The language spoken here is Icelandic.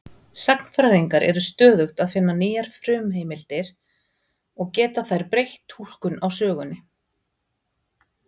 Sagnfræðingar eru stöðugt að finna nýjar frumheimildir og geta þær breytt túlkun á sögunni.